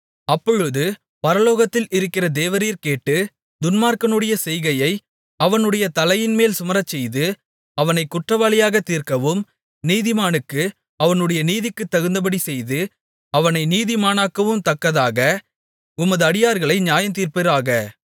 அப்பொழுது பரலோகத்தில் இருக்கிற தேவரீர் கேட்டு துன்மார்க்கனுடைய செய்கையை அவனுடைய தலையின்மேல் சுமரச்செய்து அவனைக் குற்றவாளியாகத் தீர்க்கவும் நீதிமானுக்கு அவனுடைய நீதிக்குத் தகுந்தபடி செய்து அவனை நீதிமானாக்கவும் தக்கதாக உமது அடியார்களை நியாயந்தீர்ப்பீராக